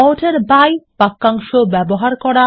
order by বাক্যাংশ ব্যবহার করা